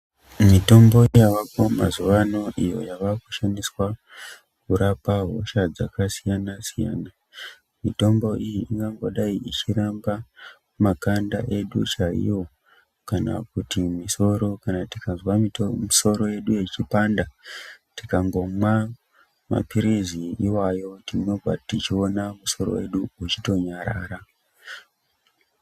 Mitombo yavako mazuvano iyo yavakushandiswa kurapaa hosha dzakasiyana siyana, mitombo iyi ingangodai ichirapa makanda edu chaiwo kana kuti misoro, kana tikanzwa musoro yedu yechipanda, tikangomwaa mapirizi iwayo tinonga tichiona musoro wedu uchitonyarara.